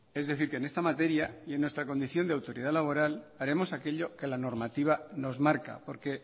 es decir que en esta materia y en nuestra condición de autoridad laboral haremos aquello que la normativa nos marca porque